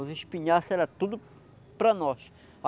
Os espinhaços eram tudo para nós.